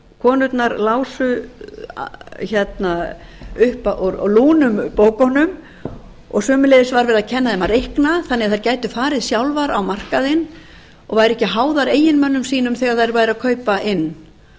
konurnar lásu upp úr lúnum bókunum sömuleiðis var verið að kenna þeim að reikna þannig að þær gætu farið sjálfar á markaðinn og væru ekki háðar eiginmönnum sínum þegar þær væru